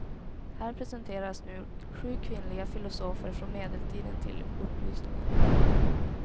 Här presenteras nu sju kvinnliga filosofer från medeltiden till upplysningen.